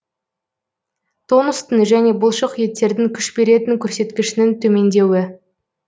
тонустың және бұлшық еттердің күш беретін көрсеткішінің төмендеуі